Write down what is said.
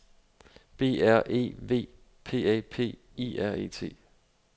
B R E V P A P I R E T